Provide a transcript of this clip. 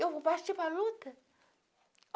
Eu vou partir para luta.